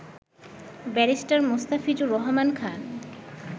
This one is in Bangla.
ব্যারিস্টার মোস্তাফিজুর রহমান খান